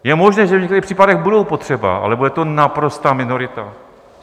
Je možné, že v některých případech budou potřeba, ale bude to naprostá minorita.